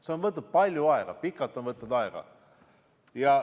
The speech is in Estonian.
See on võtnud palju aega, pikalt on võtnud aega.